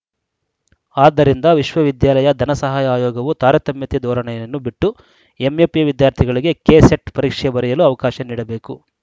ಆದ್ದರಿಂದ ವಿಶ್ವ ವಿದ್ಯಾಲಯ ಧನ ಸಹಾಯ ಆಯೋಗವು ತಾರತಮ್ಯತೆ ಧೋರಣೆಯನ್ನು ಬಿಟ್ಟು ಎಂಎಫ್‌ಎ ವಿದ್ಯಾರ್ಥಿಗಳಿಗೆ ಕೆಸೆಟ್‌ ಪರೀಕ್ಷೆ ಬರೆಯಲು ಅವಕಾಶ ನೀಡಬೇಕು